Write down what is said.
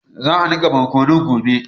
Za a niƙa borkunun gobe.